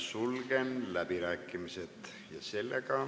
Sulgen läbirääkimised.